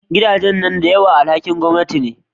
Gidajen nan da yawan su alhakin gwamanati ne